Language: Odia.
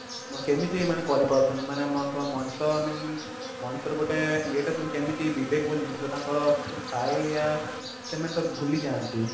କେମିତି ଏମାନେ କରିପାରୁଛନ୍ତି ମାନେ ଏମାନଙ୍କୁ ଆଉ ମଣିଷ i mean ମଣିଷ ରେ ଗୋଟେ ଇଏଟେ ଶୁଣି କେମିତି ବିବେକ ବୋଲି ଜିନିଷ ଟା ତାଙ୍କର ଥାଏ ୟା ସେମାନେ ତାକୁ ଭୁଲି ଯାନ୍ତି